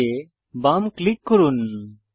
colour এ বাম click করুন